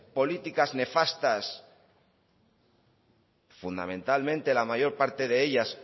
políticas nefastas fundamentalmente la mayor parte de ellas